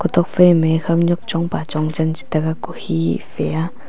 tok phai me a khawnwk chong pa chong chan chete ga ku khe a.